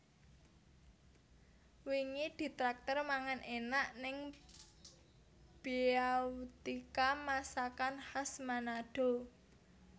Wingi ditraktir mangan enak ning Beautika Masakan Khas Manado